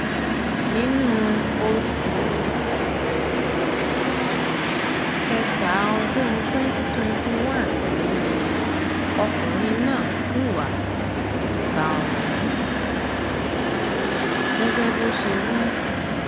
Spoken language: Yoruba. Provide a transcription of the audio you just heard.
nínú oṣù um kẹta ọdún twenty twenty one yìí ni ọkùnrin náà hùwà ìka ọ̀hún um gẹ́gẹ́ bó ṣe wí